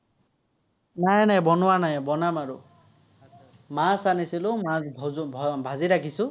নাই নাই, বনোৱ নাই। বনাম আৰু। মাছ আনিছিলো, মাছ ভাজি ৰাখিছো।